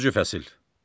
10-cu fəsil.